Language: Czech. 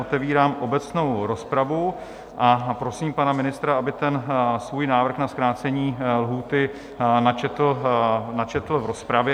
Otevírám obecnou rozpravu a prosím pana ministra, aby ten svůj návrh na zkrácení lhůty načetl v rozpravě.